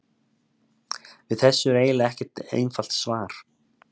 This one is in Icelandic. Við þessu er eiginlega ekkert einfalt svar.